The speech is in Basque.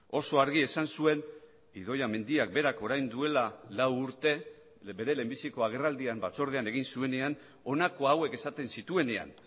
oso argi esan zuen idoia mendiak berak orain duela lau urte bere lehenbiziko agerraldian batzordean egin zuenean honako hauek esaten zituenean